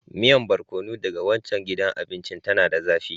Miyan Barkono daga waccan gidan abinci, tana da zafi.